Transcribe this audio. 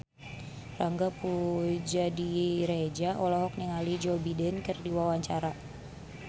Angga Puradiredja olohok ningali Joe Biden keur diwawancara